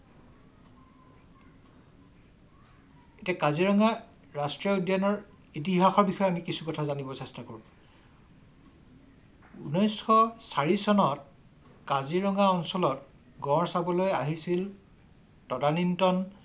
এতিয়া কাজিৰঙা ৰাষ্ট্ৰীয় উদ্যানৰ ইতিহাসৰ বিষয়ে কিছু কথা জানিব চেষ্টা কৰো। ঊনৈশ চাৰি চনত কাজিৰঙা অঞ্চলত গঁড় চাবলৈ আহিছিল তদানীন্তন